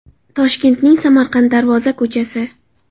Toshkentning Samarqand Darvoza ko‘chasi.